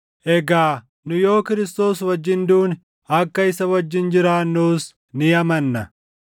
Egaa nu yoo Kiristoos wajjin duune, akka isa wajjin jiraannus ni amanna.